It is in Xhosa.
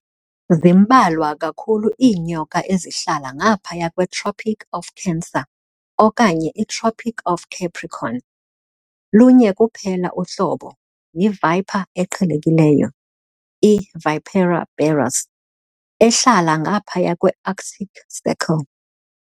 Zimbalwa kakhulu iinyoka ezihlala ngaphaya kweTropic of Cancer okanye iTropic of Capricorn, lunye kuphela uhlobo, yiviper eqhelekileyo, i"Vipera berus", ehlala ngaphaya kweArctic Circle.